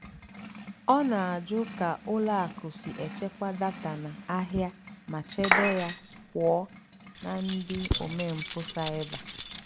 ọ́ nà-àjụ́ kà ùlọ àkụ́ sí èchékwá dátà ndí àhìá mà chèbé yá pụ́ọ́ nà ndí ómémpụ́ cybér.